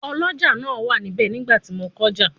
Ọlọ́jà náà wà níbẹ̀ nígbà tí mo kọjá